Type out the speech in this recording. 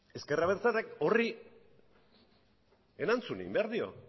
ezker abertzaleak horri erantzun egin behar dio